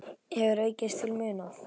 hefur aukist til muna.